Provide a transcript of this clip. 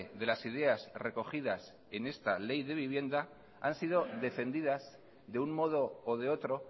de las ideas recogidas en esta ley de vivienda han sido defendidas de un modo o de otro